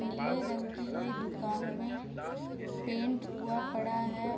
नीले रंग की ये दुकान में पेंट हुआ पड़ा है।